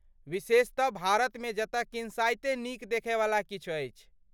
विशेषतः भारतमे जतय किन्साइते नीक देखयवला किछु अछि!